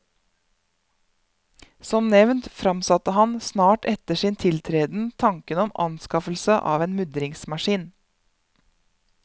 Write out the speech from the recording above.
Som nevnt fremsatte han, snart etter sin tiltreden, tanken om anskaffelse av en mudringsmaskin.